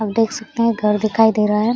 आप देख सकते हैं घर दिखाई दे रहा है।